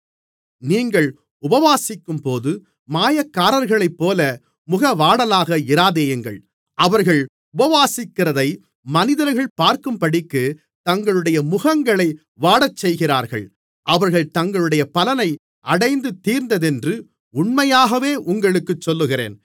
நீங்கள் உபவாசிக்கும்போது மாயக்காரர்களைப்போல முகவாடலாக இராதேயுங்கள் அவர்கள் உபவாசிக்கிறதை மனிதர்கள் பார்க்கும்படிக்கு தங்களுடைய முகங்களை வாடச்செய்கிறார்கள் அவர்கள் தங்களுடைய பலனை அடைந்து தீர்ந்ததென்று உண்மையாகவே உங்களுக்குச் சொல்லுகிறேன்